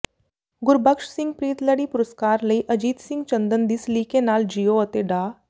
ਗੁਰਬਖਸ਼ ਸਿੰਘ ਪ੍ਰੀਤਲੜੀ ਪੁਰਸਕਾਰ ਲਈ ਅਜੀਤ ਸਿੰਘ ਚੰਦਨ ਦੀ ਸਲੀਕੇ ਨਾਲ ਜੀਓ ਅਤੇ ਡਾ